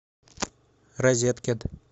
розеткед